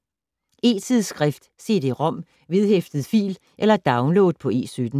E-tidsskrift: Cd-rom, vedhæftet fil eller download på E17.